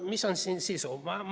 Mis on siin sisu?